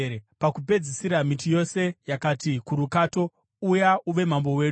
“Pakupedzisira, miti yose yakati kurukato, ‘Uya uve mambo wedu.’